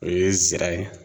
O ye zira ye